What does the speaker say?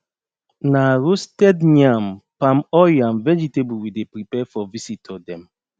na roasted yam palm oil and vegetable we dey prepare for visitor dem